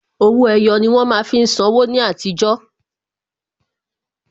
Owó ẹyọ ni wón má fi ń san wó ní àtijọ́